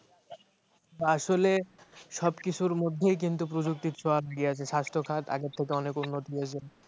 আসলে সব কিছুর মধ্যে্ই কিক্ত প্রযুক্তি ছোয়া দিইয়াছে স্বাস্থ্যখাত আগের চাইতে অনেক উন্নতি হয়েছে